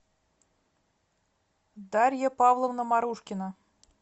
дарья павловна марушкина